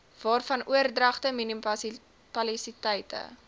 waarvan oordragte munisipaliteite